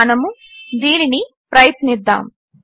మనము దీనిని ప్రయత్నిద్దాము